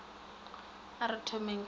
a re thomeng ka go